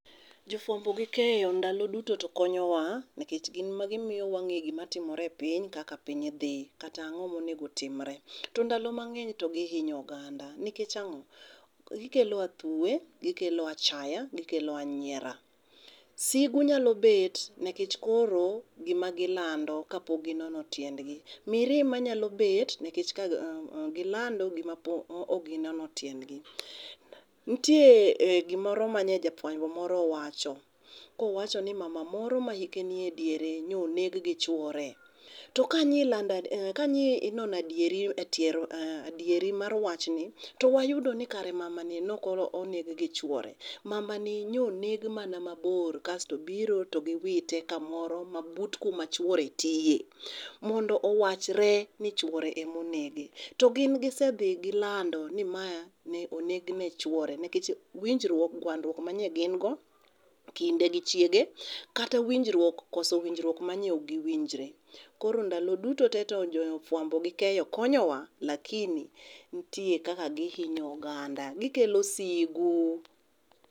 Jo fuambo gi keyo ndalo duto to konyowa nikech gin ema gimiyo wang'eyo gima timore e piny, kaka piiny dhi, kata ang'o ma onego otimre. To ndalo mang'eny to gihinyo oganda nikech ang'o? Gikelo athuwe, gikelo achaya, gikelo anyiera. Sigu nyalo bet nikech koro gima gilando kapok ginono tiendgi mirima nyalo bet nikech ka gilando gima pok ok ginono tiendgi. Nitie gimoro mane jafuambo moro owacho kowacho ni mama moro ma hike nie diere ne oneg gi chuore, to kane ilando kanyi inono adieri adieri mar wachni to wayudo ni kare mama ni ne ok oneg gi chuore. Mamani nyo oneg mana mabor kasto gibiro to giwite kamoro mana but kuma chuore tiye, mondo owachre ni chuore ema onege. To gin gisedhi gilando ni ma ne o´negen gi chuore nikech winjruok gwandruok mane gin go, kinde gi chiege. Kata winjruok koso winjruok manyo ok giwinjre. Koro ndalo duto te to jofuambo gi keyo konyowa lakini nitie kaka gihinyo oganda. Gikelo sigu.